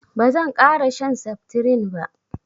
bazan kara shan septirin ba